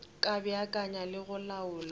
ka beakanya le go laola